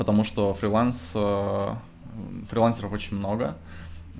потому что фриланс фрилансеров очень много